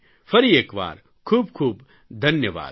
ફરી એક વાર ખૂબ ખૂબ ધન્યવાદ